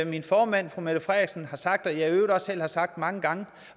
min formand fru mette frederiksen har sagt og jeg i øvrigt selv har sagt mange gange